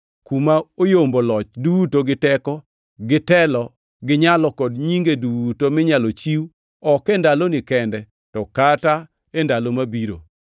kuma oyombo loch duto gi teko gi telo gi nyalo kod nyinge duto minyalo chiw ok e ndaloni kende to kata e ndalo mabiro.